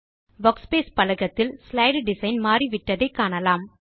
workspace பலகத்தில் slide design மாறிவிட்டதை காணலாம்